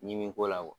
Ɲimi ko la